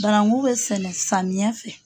Barangu bɛ sɛnɛ samiya fɛ.